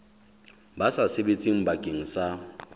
ba sa sebetseng bakeng sa